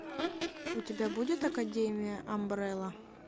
у тебя будет академия амбрелла